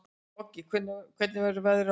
Koggi, hvernig verður veðrið á morgun?